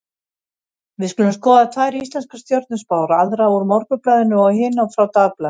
Við skulum skoða tvær íslenskar stjörnuspár, aðra úr Morgunblaðinu og hina frá Dagblaðinu.